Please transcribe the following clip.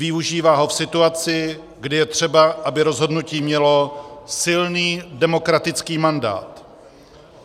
Využívá ho v situaci, kdy je třeba, aby rozhodnutí mělo silný demokratický mandát.